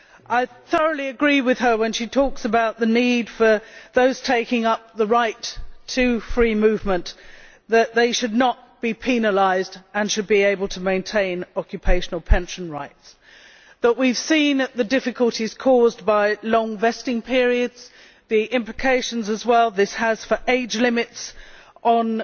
I thoroughly agree with her when she talks about the need for those taking up the right to free movement not to be penalised, and to be able to maintain occupational pension rights. But we have seen the difficulties caused by long vesting periods and the implications this also has for age limits on